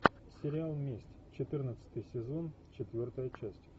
сериал месть четырнадцатый сезон четвертая часть